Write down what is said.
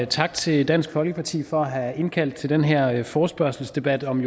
tak til dansk folkeparti for at have indkaldt til den her forespørgselsdebat om